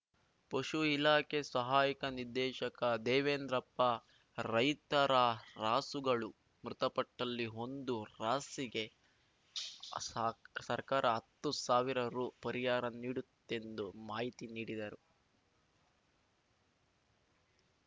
ಪಶು ಇಲಾಖೆ ಸಹಾಯಕ ನಿರ್ದೇಶಕ ದೇವೇಂದ್ರಪ್ಪ ರೈತರ ರಾಸುಗಳು ಮೃತಪಟ್ಟಲ್ಲಿ ಹೊಂದು ರಾಸಿಗೆ ಸ ಸರ್ಕಾರ ಹತ್ತು ಸಾವಿರ ರು ಪರಿಹಾರ ನೀಡುತ್ತೆಂದು ಮಾಹಿತಿ ನೀಡಿದರು